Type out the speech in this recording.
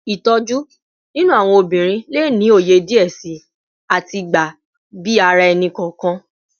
Itoju ninu awọn obinrin le ni oye diẹ sii ati gba bi ara ẹni-kọọkan